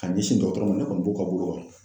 Ka ɲɛsin dɔgɔtɔrɔ ma ne kɔni b'o ka bolo kan